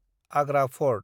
Agra fort